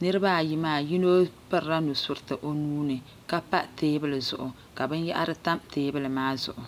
niriba ayi maa yino pirila nusuriti o nuuni ka pa teebuli zuɣu ka binyahari tam teebuli maa zuɣu.